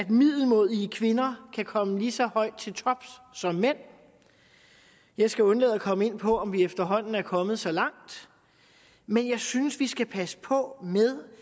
middelmådige kvinder kan komme lige så højt til tops som mænd jeg skal undlade at komme ind på om vi efterhånden er kommet så langt men jeg synes vi skal passe på med